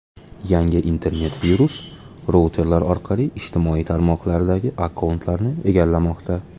Yangi internet-virus routerlar orqali ijtimoiy tarmoqlardagi akkauntlarni egallamoqda.